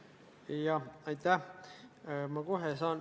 Jah, aitäh!